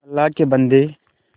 अल्लाह के बन्दे